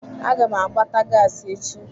Aga m agbata gasi echi.